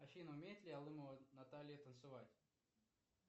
афина умеет ли алымова наталья танцевать